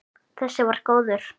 Þessi var góður!